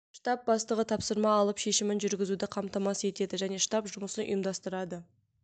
штаб бастығы тапсырма алып шешімін жүргізуді қамтамасыз етеді және штаб жұмысын ұйымдастырады